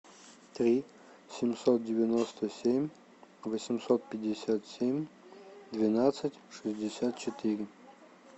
три семьсот девяносто семь восемьсот пятьдесят семь двенадцать шестьдесят четыре